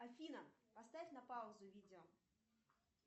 афина поставь на паузу видео